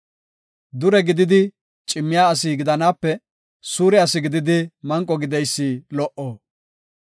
Dure gididi cimmiya asi gidanaape, suure asi gididi manqo gideysi lo77o.